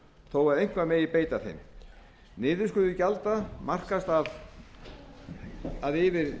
þó að eitthvað megi beita þeim niðurskurður gjalda markast af því að yfir